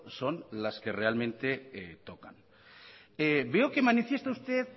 son las que realmente tocan veo que manifiesta usted